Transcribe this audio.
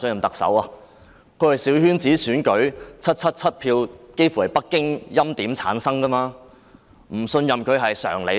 她是透過小圈子選舉取得777票，幾乎全由北京欽點產生，不信任她是常理吧？